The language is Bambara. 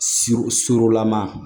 Sur surulama